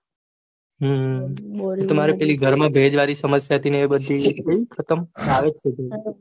હમ તમારે ઘર માં પેલી ભેજ વળી સમસ્યા હતી એ ખતમ કે આવે છે